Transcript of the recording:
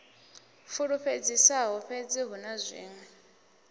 fulufhedzisaho fhedzi hu na zwiṅwe